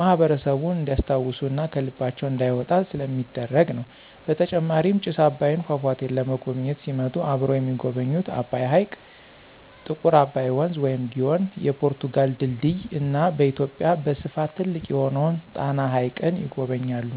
ማህበረሰቡን እንዲስታውሱ እና ከልባቸው እንዳይወጣ ስለሚደረግ ነው። በተጨማሪም ጭስ አባይን ፏፏቴን ለመጎብኝት ሲመጡ አብረው የሚጎበኙት አባይ ሕይቅ፣ ጥቁር አባይ ወንዝ(ግዮን) ፣የፖርቱጋል ድልድይ እና በኢትዮጵያ በስፍት ትልቅ የሆነውን ጣና ሀይቅን ይጎበኛሉ።